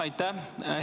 Aitäh!